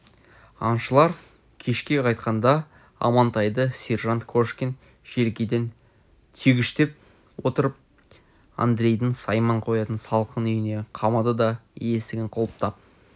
аңшылар кешке қайтқанда амантайды сержант кошкин желкеден түйгіштеп отырып андрейдің сайман қоятын салқын үйіне қамады да есігін құлыптап